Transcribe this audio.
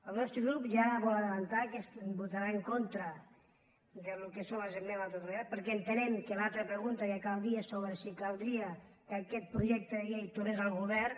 el nostre grup ja vol avançar que votarà en contra del que són les esmenes a la totalitat perquè entenem que l’altra pregunta que cal dir és sobre si caldria que aquest projecte de llei tornés al govern